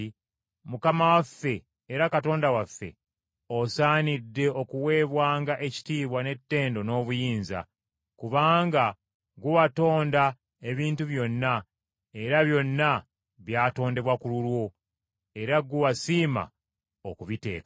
“Mukama waffe era Katonda waffe, osaanidde okuweebwanga ekitiibwa n’ettendo n’obuyinza, kubanga gwe watonda ebintu byonna era byonna byatondebwa ku lulwo era gwe wasiima okubiteekawo.”